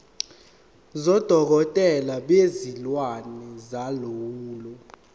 sodokotela bezilwane solawulo